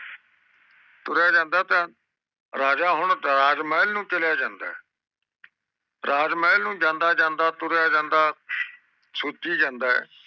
ਤੁਰ੍ਯ ਜਾਂਦਾ ਏ ਰਾਜਾ ਹੁਣ ਤਾਰਾਜ ਮਹਲ ਨੂੰ ਚਲੇ ਜਾਂਦਾ ਏ ਰਾਜ ਮਹਲ ਨੂੰ ਜਾਂਦਾ ਜਾਂਦਾ ਤੁਰਿਆ ਜਾਂਦਾ ਸੋਚੀ ਜਾਂਦਾ ਏ